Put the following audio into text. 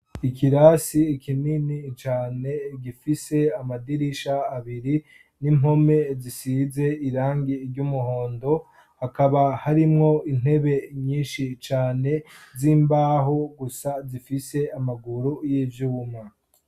Ikirasi kinini cane gifise amadirisha abiri n'impome zisize irangi ry'umuhondo hakaba harimwo intebe nyinshi cane z'imbaho gusa zifise amaguru y'ivyuma.